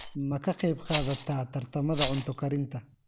Ma ka qaybqaadataa tartamada cunto karinta?